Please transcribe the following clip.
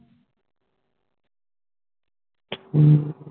ਹੱਮ